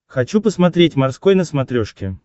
хочу посмотреть морской на смотрешке